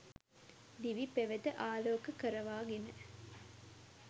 දිවි පෙවෙත අලෝක කරවාගෙන